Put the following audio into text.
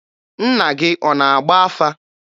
Nna gị ọ na-agba afa?